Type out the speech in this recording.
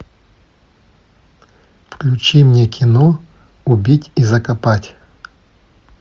включи мне кино убить и закопать